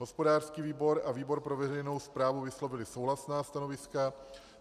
Hospodářský výbor a výbor pro veřejnou správu vyslovily souhlasná stanoviska.